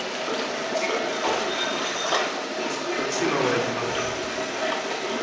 включи новое кино